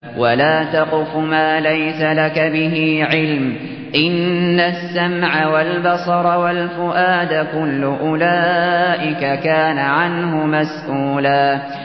وَلَا تَقْفُ مَا لَيْسَ لَكَ بِهِ عِلْمٌ ۚ إِنَّ السَّمْعَ وَالْبَصَرَ وَالْفُؤَادَ كُلُّ أُولَٰئِكَ كَانَ عَنْهُ مَسْئُولًا